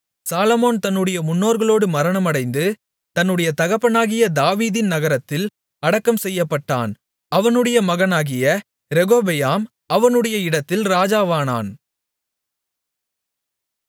சாலொமோன் தன்னுடைய முன்னோர்களோடு மரணமடைந்து தன்னுடைய தகப்பனாகிய தாவீதின் நகரத்தில் அடக்கம் செய்யப்பட்டான் அவனுடைய மகனாகிய ரெகொபெயாம் அவனுடைய இடத்தில் ராஜாவானான்